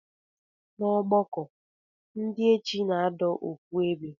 Na ọgbọkọ ndi echi na adọ ofu ebe.